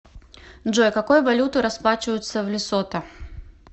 джой какой валютой расплачиваются в лесото